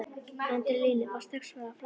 Adrenalínið var strax farið að flæða.